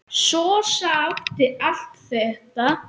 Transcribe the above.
Sossa átti allt þetta.